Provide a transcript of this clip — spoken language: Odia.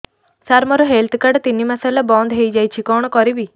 ସାର ମୋର ହେଲ୍ଥ କାର୍ଡ ତିନି ମାସ ହେଲା ବନ୍ଦ ହେଇଯାଇଛି କଣ କରିବି